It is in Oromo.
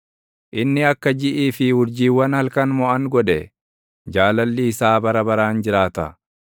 inni akka jiʼii fi urjiiwwan halkan moʼan godhe; Jaalalli isaa bara baraan jiraata.